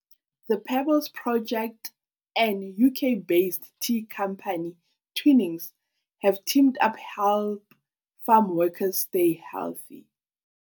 THE PEBBLES PROJECT and UK-based tea company Twinings have teamed up help farmworkers stay healthy.